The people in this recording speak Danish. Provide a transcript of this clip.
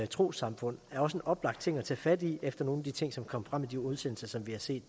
trossamfund er også en oplagt ting at tage fat i efter nogle af de ting som kom frem i de udsendelser som vi har set